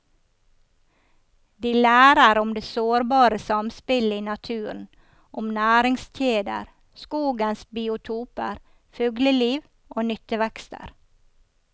De lærer om det sårbare samspillet i naturen, om næringskjeder, skogens biotoper, fugleliv og nyttevekster.